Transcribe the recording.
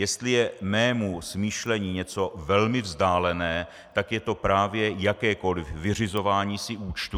Jestli je mému smýšlení něco velmi vzdálené, tak je to právě jakékoliv vyřizování si účtů.